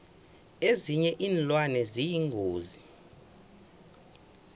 ezinye iinlwane ziyingozi